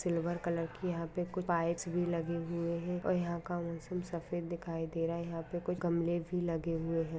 Silver colour की यहाँ पे कोई पाइप्स भी लगे हुए है और यहाँ का सफ़ेद दिखाई दे रहा है यहाँ पे कोई गमले भी लगे हुए है।